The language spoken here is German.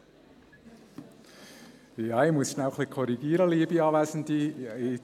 der BiK. Ja ich muss schnell ein bisschen korrigieren, liebe Anwesende.